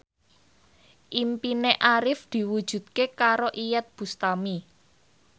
impine Arif diwujudke karo Iyeth Bustami